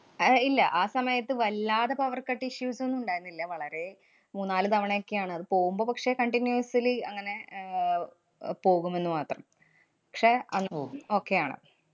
അഹ് ഏർ ഇല്ല. ആ സമയത്ത് വല്ലാതെ powercut issues ന്നും ഇണ്ടായിരുന്നില്ല. വളരെ മൂന്നാല് തവണയോക്കെയാണ്. അത് പോവുമ്പ പക്ഷേ continuously അങ്ങനെ ആഹ് അഹ് പോകുമെന്ന് മാത്രം. പക്ഷേ അങ്~ പോ~ okay ആണ്.